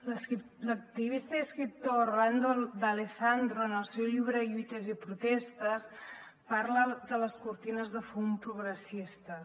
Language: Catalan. l’activista i escriptor rolando d’alessandro en el seu llibre lluites i protestes parla de les cortines de fum progressistes